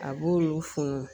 A b'olu funu